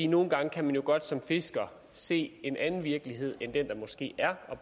nogle gange kan man jo godt som fisker se en anden virkelighed end den der måske er og